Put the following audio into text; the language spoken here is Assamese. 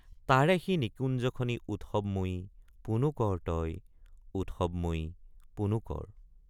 তাৰে সি নিকুঞ্জ খনি উৎসবময়ী পুনু কৰ তই উৎসবময়ী পুনু কৰ।